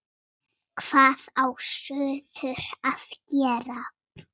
Hvað á suður að gera?